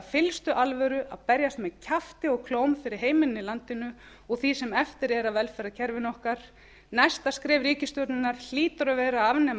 fyllstu alvöru að berjast með kjafti og klóm fyrir heimilin í landinu og því sem eftir er af velferðarkerfinu okkar næsta skref ríkisstjórnarinnar hlýtur að vera að afnema